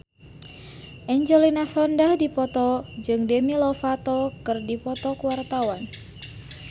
Angelina Sondakh jeung Demi Lovato keur dipoto ku wartawan